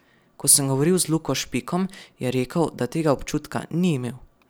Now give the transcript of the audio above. Ko sem govoril z Luko Špikom, je rekel, da tega občutka ni imel.